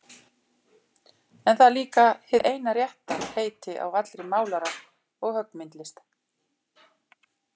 En það er líka hið eina rétta heiti á allri málara- og höggmyndalist.